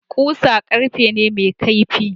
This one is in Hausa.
Kusa ƙarfe ne mai kaifi.